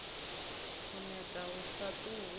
u neta hu sa ṱuwi